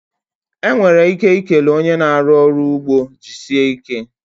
Enwere ike ikele one na-arụ ọrụ n'ugbo 'jisie ike'